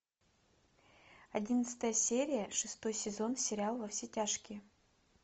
одиннадцатая серия шестой сезон сериал во все тяжкие